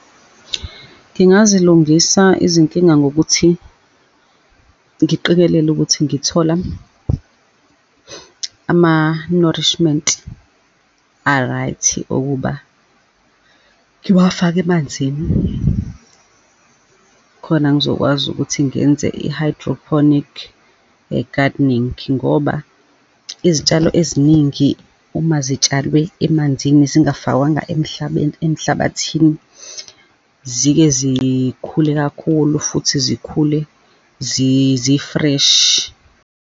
Ngingazilungisa izinkinga ngokuthi ngiqikelele ukuthi ngithola ama-nourishment a-right, ukuba ngiwafake emanzini, khona ngizokwazi ukuthi ngenze i-hydroponic ye-gardening, ngoba izitshalo eziningi, uma zitshalwe emanzini, zingafakwanga emhlabeni, emhlabathini, zike zikhule kakhulu futhi zikhule zi-fresh.